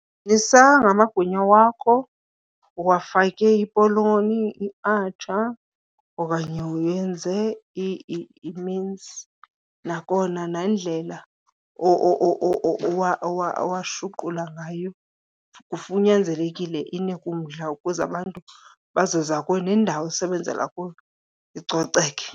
ngamagwinya wakho uwafake ipoloni, iatsha okanye wenze iminsi. Nakona nendlela owashuqula ngayo kunyanzelekile inike umdla ukuze abantu bazoza kuwe, nendawo osebenzela kuyo icoceke.